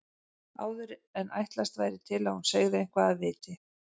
Áður en ætlast væri til að hún segði eitthvað af viti.